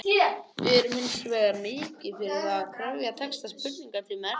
Við erum hins vegar mikið fyrir það að kryfja texta spurninganna til mergjar.